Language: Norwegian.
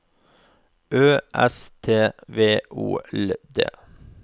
Ø S T V O L D